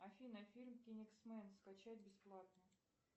афина фильм кингсмэн скачать бесплатно